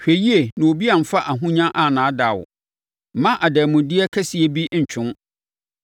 Hwɛ yie na obi amfa ahonya annaadaa wo; mma adanmudeɛ kɛseɛ bi ntwe wo.